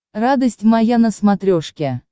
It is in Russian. радость моя на смотрешке